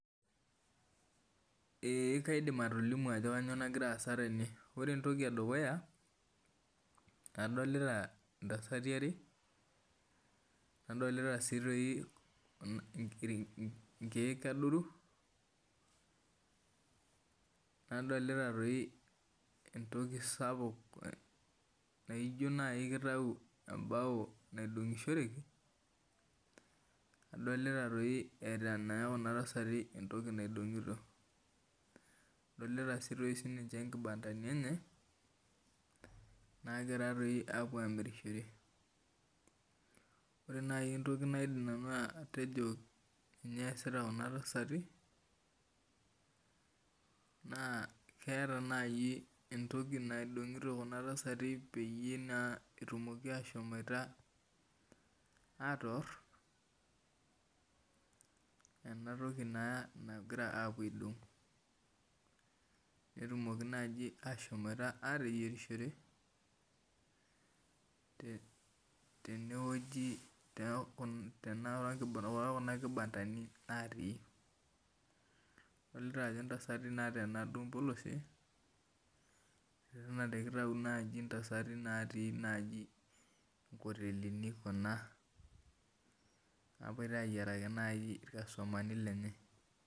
Ee kaidim atolimu ajo kanyio nagira aasa tene ore entoki edukuya adolta ntasati are nadolta nkiek adoru nadolta entoki sapuk naijo kitau embao naidongishoreki, adolita nkibandani enye nagira apuo amirishore ore naibentoki naidim atejo ninye easita kuna tasati keeta entoki naidongito petumokiashomoita atoor enatoki naa nagira apuo aidong netumoki naibashomoita atimir tokuna kibandani natii adolta ajo ntasati nateena mpolosi ijo kitau ntasati onkotelini kuna napoito ayieraki irkastomani lenye endaa